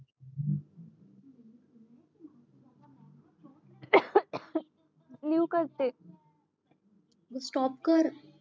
नीव करते